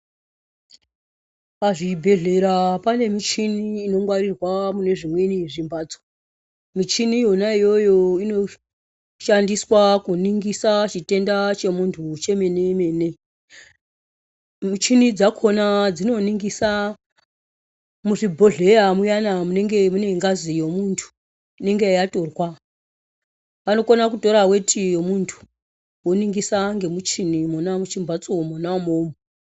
Pazvibhedhlera pane michini inongwarirwa mune zvimweni zvimphatso, michini iyona iyoyo inoshandiswa kuningisa chitenda chemunthu chemene-mene. Muchini dzakhona dzinoningisa muzvibhedhleya muyana munenge mune ngazi yemunthu inenge yatorwa, vanokona kutora weti yemunthu voningisa ngemuchini Mona muchimphatso mona umomo.